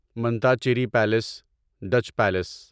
Mattancherry palace Dutch palace